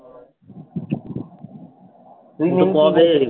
তুইতো কবেই